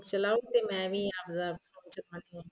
ਚਲਾਓ ਮੈਂ ਵੀ ਆਪ ਦਾ phone ਚਲਾ ਰਹੀ ਆ